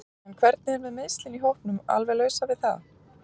En hvernig er með meiðslin í hópnum alveg lausar við það?